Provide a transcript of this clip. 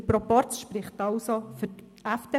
Der Proporz spricht also für die FDP.